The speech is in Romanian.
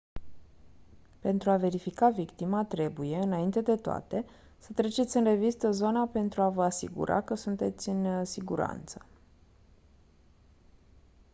pentru a verifica victima trebuie înainte de toate să treceți în revistă zona pentru a vă asigura că sunteți în siguranță